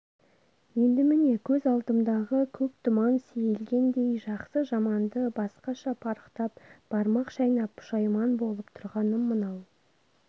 енді міне көз алдымдағы көк тұман сейілгендей жақсы-жаманды басқаша парықтап бармақ шайнап пұшайман болып тұрғаным мынау